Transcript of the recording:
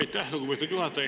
Aitäh, lugupeetud juhataja!